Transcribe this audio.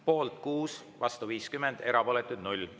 Poolt on 6, vastu 50, erapooletuid on 0.